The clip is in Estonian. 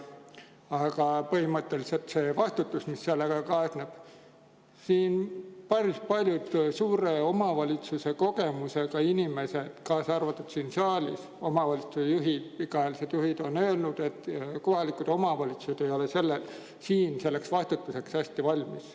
Aga põhimõtteliselt see vastutus, mis sellega kaasneb – päris paljud suure omavalitsuse kogemusega inimesed, kaasa arvatud siin saalis olevad pikaajalised omavalitsuste juhid, on öelnud, et kohalikud omavalitsused ei ole selleks vastutuseks hästi valmis.